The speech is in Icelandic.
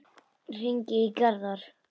Hringi í Garðar.